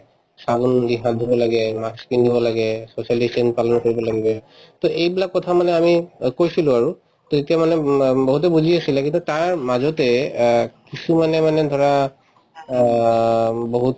চাবোন দি হাত ধুব লাগে, mask পিন্ধিব লাগে, social distance পালন কৰিব লাগিবয়ে to এইবিলাক কথা মানে আমি অ কৈছিলো আৰু to তেতিয়া মানে উম অ বহুতে বুজি আছিলে কিন্তু তাৰ মাজতে অ কিছুমানে মানে ধৰা অ বহুত